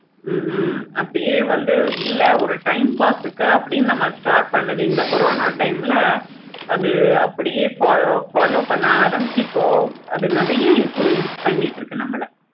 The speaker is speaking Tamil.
ஹம் உம் அப்படியே வந்து இல்ல ஒரு time pass க்கு அப்படின்னு நம்ம start பண்ணது இந்த corona time ல அத அப்படியே follow பண்ண ஆரம்பிச்சி அது நெறைய influence பண்ணிட்டு இருக்கு இப்போ